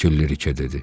Kəkilliriki dedi.